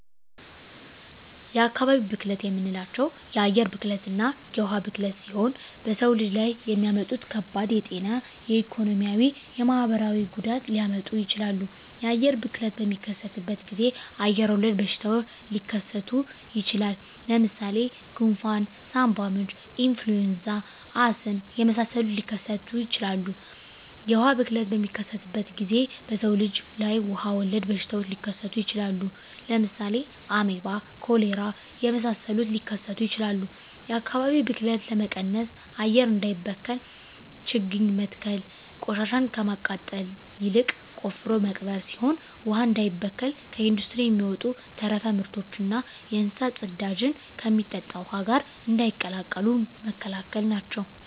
የአካባቢ ብክለት የምንላቸው የአየር ብክለትና የውሀ ብክለት ሲሆኑ በሰው ልጅ ላይ የሚያመጡት ከባድ የጤና የኢኮኖሚ የማህበራዊ ጉዳት ሊያመጡ ይችላሉ። የአየር ብክለት በሚከሰትበት ጊዜ አየር ወለድ በሽታዎች ሊከሰቱ ይችላል። ለምሳሌ ጉንፍን ሳምባምች ኢንፍሉዌንዛ አስም የመሳሰሉትን ሊከሰቱ ይችላሉ። የውሀ ብክለት በሚከሰትበት ጊዜ በሰው ልጅ ላይ ውሀ ወለድ በሽታዎች ሊከሰቱ ይችላሉ። ለምሳሌ አሜባ ኮሌራ የመሳሰሉት ሊከሰቱ ይችላሉ። የአካባቢ ብክለት ለመቀነስ አየር እንዳይበከል ችግኝ መትከል ቆሻሻን ከማቃጠል ይልቅ ቆፍሮ መቅበር ሲሆን ውሀ እንዳይበከል ከኢንዱስትሪ የሚወጡ ተረፈ ምርቶችና የእንስሳት ፅዳጅን ከሚጠጣ ውሀ ጋር እንዳይቀላቀሉ መከላከል ናቸው።